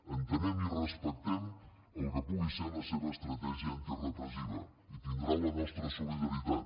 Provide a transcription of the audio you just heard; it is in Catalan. entenem i respectem el que pugui ser la seva estratègia antirepressiva i tindrà la nostra solidaritat